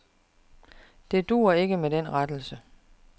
Det duer ikke med den rettelse.